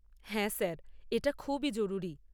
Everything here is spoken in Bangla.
হ্যাঁ, স্যার। এটা খুবই জরুরি।